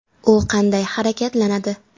U qanday harakatlanadi?